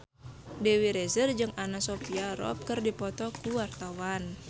Dewi Rezer jeung Anna Sophia Robb keur dipoto ku wartawan